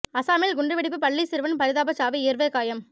அசாமில் குண்டு வெடிப்பு பள்ளி சிறுவன் பரிதாபச் சாவு இருவர் காயம்